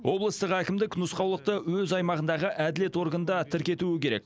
облыстық әкімдік нұсқаулықты өз аймағындағы әділет органда тіркетуі керек